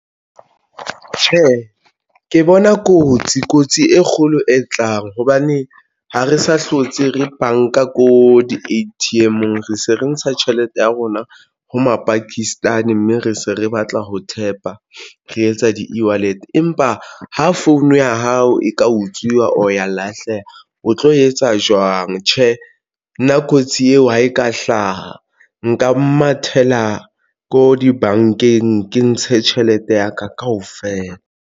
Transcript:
Tjhe, ke bona kotsi, kotsi e kgolo e tlang hobane ha re sa hlotse re banka ko di A_T_M-eng re se re ntsha tjhelete ya rona ho mapakistani mme re se re batla ho thepa re etsa di-ewallet empa ho phone ya hao e ka utswiwa. O ya lahleha, o tlo etsa jwang tjhe? Nna kotsi eo ha e ka hlaha nka mathela ko dibankeng ke ntshe tjhelete ya ka kaofela.